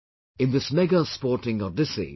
In this mega sporting odyssey